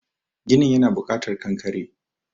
ginin yana bukatar kankare